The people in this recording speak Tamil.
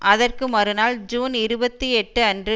அதற்கு மறுநாள் ஜூன் இருபத்தி எட்டு அன்று